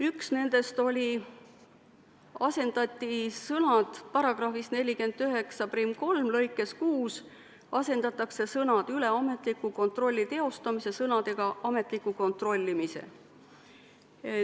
Ühega neist asendati § 493 lõikes 6 sõnad "üle ametliku kontrolli teostamise" sõnadega "ametliku kontrollimise".